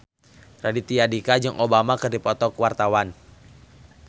Raditya Dika jeung Obama keur dipoto ku wartawan